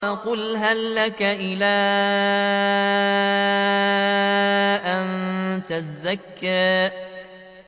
فَقُلْ هَل لَّكَ إِلَىٰ أَن تَزَكَّىٰ